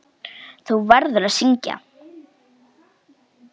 Þú verður að syngja.